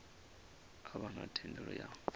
a vha na thendelo ya